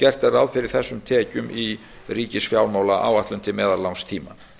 gert er ráð fyrir þessum tekjum í ríkisfjármálaáætlun til meðallangs tíma